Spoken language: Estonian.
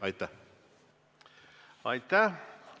Aitäh!